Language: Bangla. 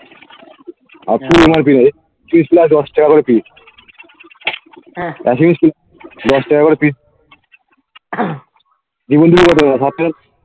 দশ টাকা করে pis দশ টাকা করে pis